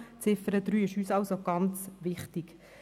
Die Ziffer 3 ist uns also sehr wichtig.